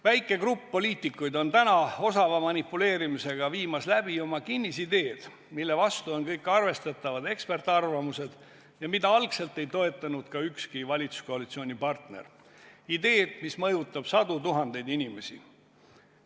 Väike grupp poliitikuid on täna osava manipuleerimisega viimas läbi oma kinnisideed, mille vastu on kõik arvestatavad eksperdiarvamused ja mida algselt ei toetanud ka ükski valitsuskoalitsioonipartner, ideed, mis mõjutab sadu tuhandeid inimesi.